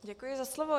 Děkuji za slovo.